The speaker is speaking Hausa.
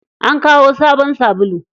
An kawo sabon sabulu.